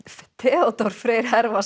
Theodór Freyr